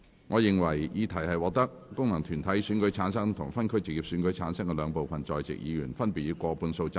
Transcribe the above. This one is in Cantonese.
我認為議題獲得經由功能團體選舉產生及分區直接選舉產生的兩部分在席議員，分別以過半數贊成。